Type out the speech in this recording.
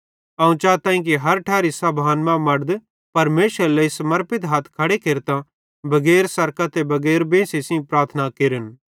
अवं चाताईं कि हर ठैरी सभान मां मड़द परमेशरेरे लेइ समर्पित हथ खड़े केरतां बगैर सरकां ते बगैर बेंसी सेइं प्रार्थना केरन